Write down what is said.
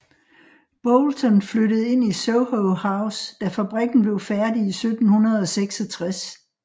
Boulton flyttede ind i Soho House da fabrikken blev færdig i 1766